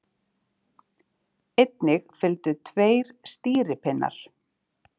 Einnig fylgdu tveir stýripinnar.